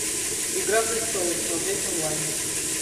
игра престолов смотреть онлайн